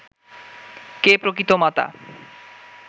কে প্রকৃত মাতা